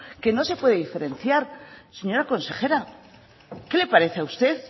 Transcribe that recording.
que no se puede diferenciar señora consejera qué le parece a usted